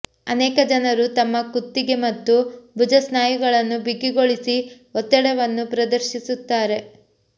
ಅನೇಕ ಜನರು ತಮ್ಮ ಕುತ್ತಿಗೆ ಮತ್ತು ಭುಜ ಸ್ನಾಯುಗಳನ್ನು ಬಿಗಿಗೊಳಿಸಿ ಒತ್ತಡವನ್ನು ಪ್ರದರ್ಶಿಸುತ್ತಾರೆ